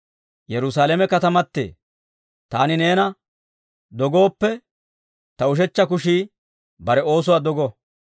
Yerusaalame katamatee, taani neena dogooppe, ta ushechcha kushii bare oosuwaa dogo.